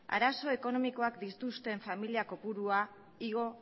arazoa ekonomikoak dituzten familia kopurua igo